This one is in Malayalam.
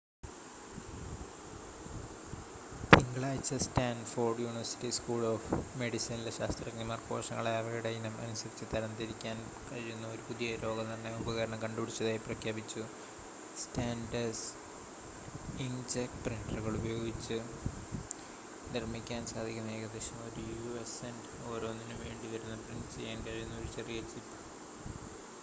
തിങ്കളാഴ്ച്ച സ്റ്റാൻഫോർഡ് യൂണിവേഴ്‌സിറ്റി സ്‌കൂൾ ഓഫ് മെഡിസിനിലെ ശാസ്ത്രജ്ഞന്മാർ കോശങ്ങളെ അവയുടെ ഇനം അനുസരിച്ച് തരംതിരിക്കാൻ കഴിയുന്ന ഒരു പുതിയ രോഗനിർണയ ഉപകരണം കണ്ടുപിടിച്ചതായി പ്രഖ്യാപിച്ചു: സ്റ്റാൻഡേർഡ് ഇങ്ക്‌ജെറ്റ് പ്രിന്റ്ററുകൾ ഉപയോഗിച്ച് നിർമ്മിക്കാൻ സാധിക്കുന്ന ഏകദേശം ഒരു യു.എസ് സെന്റ് ഓരോന്നിനും വേണ്ടിവരുന്ന പ്രിന്റ് ചെയ്യാൻ കഴിയുന്ന ഒരു ചെറിയ ചിപ്പ്